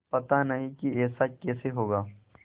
पता नहीं कि ऐसा कैसे होगा